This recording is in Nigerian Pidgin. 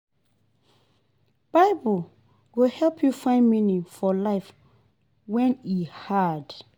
Bible go help yu find meaning for life wen e hard.